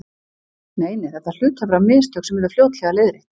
Nei, nei, þetta hlutu að vera mistök sem yrðu fljótlega leiðrétt.